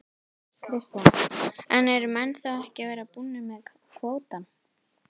Kristján: En eru menn þá ekki að verða búnir með kvótann?